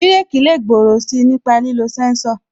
Bireki lè gbòòrò si nípa lílo sẹ́ńsọ̀